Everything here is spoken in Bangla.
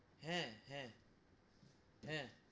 হ্যা হ্যা হ্যা,